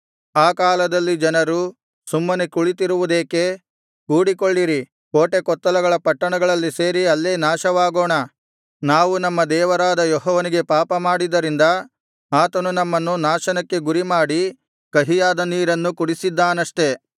ಆ ಕಾಲದಲ್ಲಿ ಜನರು ಸುಮ್ಮನೆ ಕುಳಿತಿರುವುದೇಕೆ ಕೂಡಿಕೊಳ್ಳಿರಿ ಕೋಟೆಕೊತ್ತಲಗಳ ಪಟ್ಟಣಗಳಲ್ಲಿ ಸೇರಿ ಅಲ್ಲೇ ನಾಶವಾಗೋಣ ನಾವು ನಮ್ಮ ದೇವರಾದ ಯೆಹೋವನಿಗೆ ಪಾಪಮಾಡಿದ್ದರಿಂದ ಆತನು ನಮ್ಮನ್ನು ನಾಶನಕ್ಕೆ ಗುರಿಮಾಡಿ ಕಹಿಯಾದ ನೀರನ್ನು ಕುಡಿಸಿದ್ದಾನಷ್ಟೆ